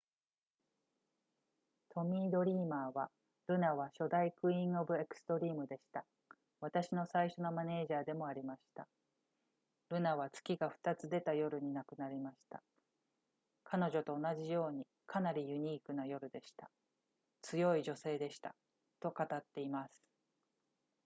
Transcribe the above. トミー・ドリーマーは「ルナは初代クイーン・オブ・エクストリームでした私の最初のマネージャーでもありましたルナは月が2つ出た夜に亡くなりました彼女と同じようにかなりユニークな夜でした強い女性でした」と語っています